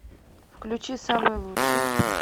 включи самый лучший